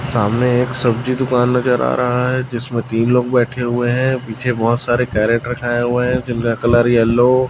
सामने एक सब्जी दुकान नजर आ रहा है जिसमें तीन लोग बैठे हुए हैं पीछे बहुत सारे कैरेट रखाया हुआ है जिनका कलर येलो --